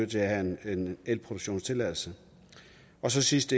til at have en elproduktionstilladelse og så sidst